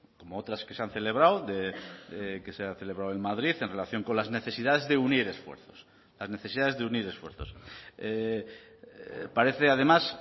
como otras que se han celebrado que se ha celebrado en madrid en relación con las necesidades de unir esfuerzos las necesidades de unir esfuerzos parece además